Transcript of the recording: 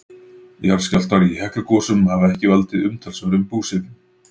jarðskjálftar í heklugosum hafa ekki valdið umtalsverðum búsifjum